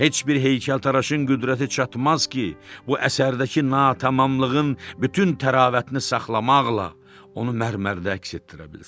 Heç bir heykəltaraşın qüdrəti çatmaz ki, bu əsərdəki natamamlığın bütün təravətini saxlamaqla onu mərmərdə əks etdirə bilsin.